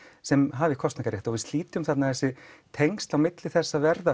sem hafi kosningarétt og við slítum þarna þessi tengsl milli þess að verða